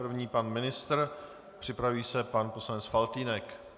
První pan ministr, připraví se pan poslanec Faltýnek.